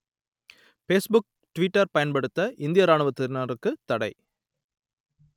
Facebook Twitter பயன்படுத்த இந்திய இராணுவத்தினருக்குத் தடை